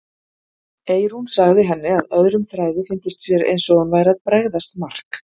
Eyrún sagði henni að öðrum þræði fyndist sér eins og hún væri að bregðast Mark.